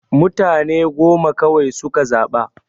Mutane goma kawai suka zaɓa.